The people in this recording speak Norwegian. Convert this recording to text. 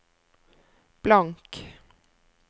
blank